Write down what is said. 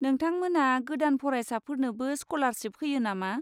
नोंथांमोना गोदान फरायसाफोरनोबो स्क'लारशिप होयो नामा?